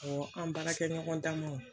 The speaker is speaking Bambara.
an baarakɛɲɔgɔn damaw